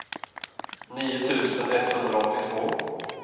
nio tusen etthundraåttiotvå